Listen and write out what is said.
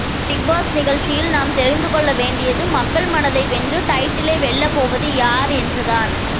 Bigg Boss நிகழ்ச்சியில் நாம் தெரிந்துகொள்ள வேண்டியது மக்கள் மனதை வென்று டைட்டிலை வெல்லப்போவது யார் என்று தான்